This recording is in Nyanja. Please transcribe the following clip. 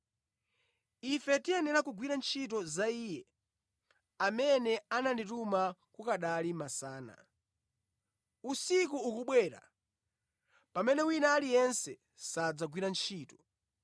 Ife tiyenera kugwira ntchito za Iye amene anandituma kukanali masana. Usiku ukubwera, pamene wina aliyense sadzagwira ntchito.